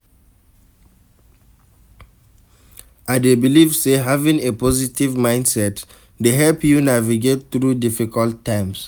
I dey believe say having a positive mindset dey help you navigate through difficult times.